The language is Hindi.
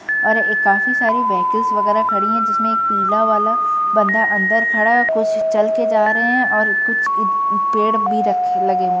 और एक काफी सारी वेह्कलस वगेरा खड़ी हैं जिसमे एक पीला वाला बन्दा अंदर खड़ा है ओर कुछ चल के जा रहे हैं और कुछ अ पेड़ भी लगे हुए हैं--